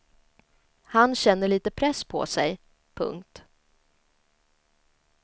Han känner lite press på sig. punkt